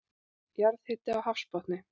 Jarðhiti á hafsbotni